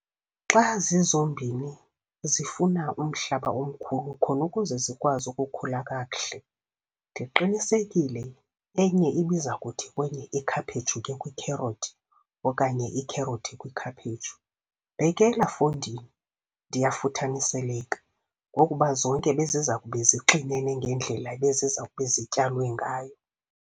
Xa zizombini zifuna umhlaba omkhulu khona ukuze zikwazi ukukhula kakuhle ndiqinisekile enye ibiza kuthi kwenye ikhaphetshu ke kwikherothi okanye ikherothi kwikhaphetshu, bhekela fondini ndiya futhaniseleka, ngokuba zonke beziza kube zixinene ngendlela ebeziza kube zityalwe ngayo.